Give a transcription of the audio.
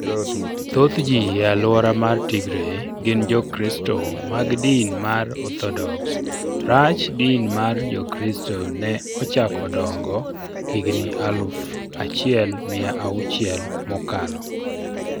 Thoth ji e alwora mar Tigray gin Jokristo mag din mar Orthodox Rach din mar Jokristo ne ochako dongo higni aluf achiel mia auchiel mokalo.